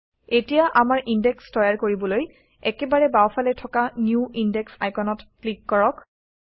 এতিয়া আমাৰ ইনডেক্স তৈয়াৰ কৰিবলৈ একেবাৰে বাওঁফালে থকা নিউ ইন্দেশ আইকনত ক্লিক কৰক